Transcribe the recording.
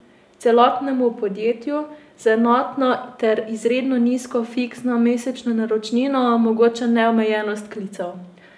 Celotnemu podjetju z enotno ter izredno nizko fiksno mesečno naročnino omogoča neomejenost klicev.